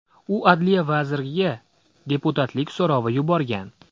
U adliya vaziriga deputatlik so‘rovi yuborgan.